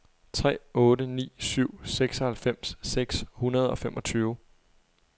tre otte ni syv seksoghalvfems seks hundrede og femogtyve